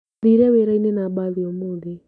Thire wĩrainĩ na mbathi ũmũthĩ.